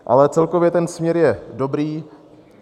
Ale celkově ten směr je dobrý.